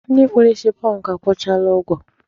Ndị kpụrụ isi pọnkụ akwụchaala ụgwọ.